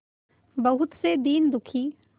बहुत से दीन दुखी